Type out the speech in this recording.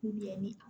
ni